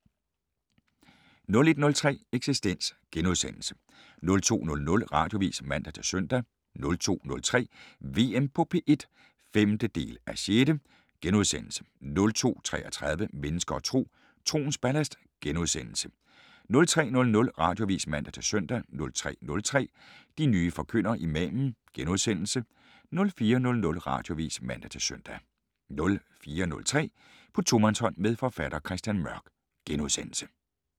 01:03: Eksistens * 02:00: Radioavis (man-søn) 02:03: VM på P1 (5:6)* 02:33: Mennesker og Tro: Troens ballast * 03:00: Radioavis (man-søn) 03:03: De nye forkyndere - Imamen * 04:00: Radioavis (man-søn) 04:03: På tomandshånd med forfatter Christian Mørk *